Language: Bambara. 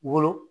Wolo